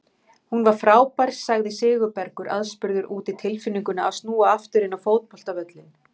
Hún var frábær sagði Sigurbergur aðspurður út í tilfinninguna að snúa aftur inn á fótboltavöllinn.